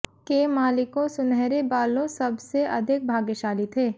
के मालिकों सुनहरे बालों सब से अधिक भाग्यशाली थे